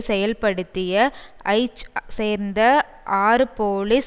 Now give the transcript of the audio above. செயல்படுத்திய ஐ சேர்ந்த ஆறு போலீஸ்